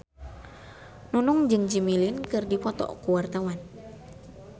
Nunung jeung Jimmy Lin keur dipoto ku wartawan